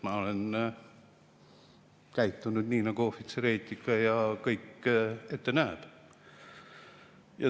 Ma olen käitunud nii, nagu ohvitseri eetika ette näeb.